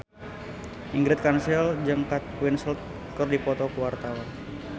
Ingrid Kansil jeung Kate Winslet keur dipoto ku wartawan